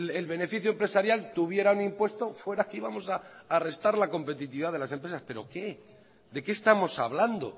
el beneficio empresarial tuviera un impuesto fuera que ibamos a restar la competitividad de las empresas pero qué de qué estamos hablando